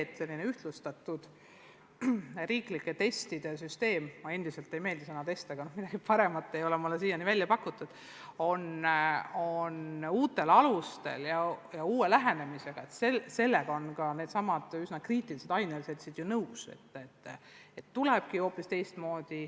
Aga sellega, et ühtlustatud üleriigiliste testide süsteem – mulle endiselt ei meeldi sõna "test", aga paremat ei ole mulle siiani välja pakutud – võiks olla uutel alustel ja uue lähenemisega, on ka meie üsna kriitilised ainealaseltsid nõus.